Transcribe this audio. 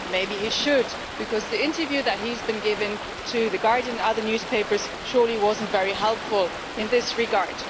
Maybe he should, because the interview that he has been giving to the Guardian and other newspapers was surely not very helpful in this regard.